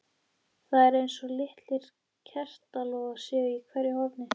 Það er eins og litlir kertalogar séu í hverju horni.